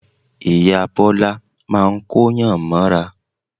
Ìyá Bọ́lá máa ń Kóyàn mọ́ra